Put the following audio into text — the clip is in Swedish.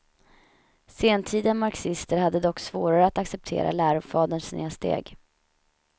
Sentida marxister hade dock svårare att acceptera lärofaderns snedsteg.